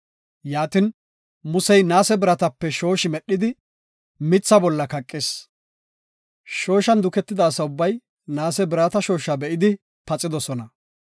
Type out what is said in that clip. Yaatin, Musey naase biratape shooshi medhidi, mitha bolla kaqis. Shooshan duketida asa ubbay naase birata shooshaa be7idi paxidosona.